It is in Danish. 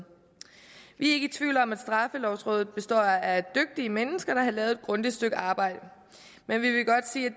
vi er ikke i tvivl om at straffelovrådet består af dygtige mennesker der har lavet et grundigt stykke arbejde men vi